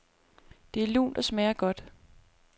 Det er lunt og smager godt.